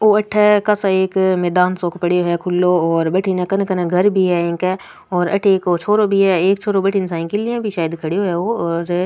ओ अठ एक कासा मैदान सो पड़े है खुलो और बठन कन कन घर भी है इंग और अठ एक छोरो भी है एक छोरो साइकिल लिए भी खड़ो है ओ और --